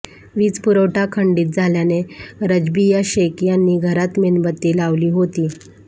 वीज पुरवठा खंडित झाल्याने रजबीया शेख यांनी घरात मेणबत्ती लावली होती